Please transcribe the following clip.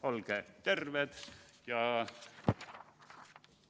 Olge terved!